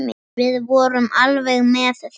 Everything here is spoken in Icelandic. Við vorum alveg með þetta.